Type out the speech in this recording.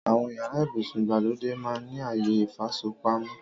Àwọn yàrá ibùsùn ìgbàlódé máa ń ní àyè ìfasọpamọ́